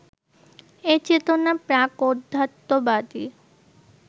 এ-চেতনা প্রাক-অধ্যাত্মবাদী